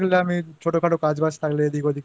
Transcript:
Repairing করছিলাম একটু পরে আবার বেরবো একজনের